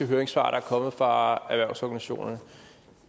høringssvar der er kommet fra erhvervsorganisationerne